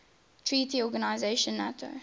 treaty organization nato